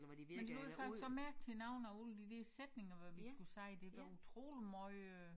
Men ud fra så mærke til navne og alle de der sætninger hvor vi skulle sige det var utrolig måj øh